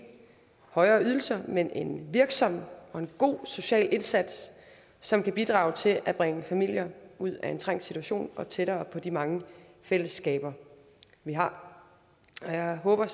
højere ydelser men en virksom og god social indsats som kan bidrage til at bringe familier ud af en trængt situation og tættere på de mange fællesskaber vi har og jeg håber